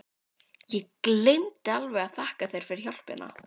Ég gleymdi alveg að þakka þér fyrir hjálpina!